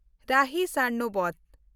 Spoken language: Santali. ᱨᱟᱦᱤ ᱥᱟᱨᱱᱚᱵᱚᱛ